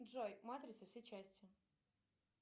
джой матрица все части